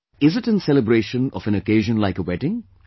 Is it in celebration of an occasion like a wedding